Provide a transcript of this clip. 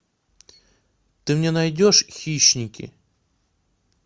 ты мне найдешь хищники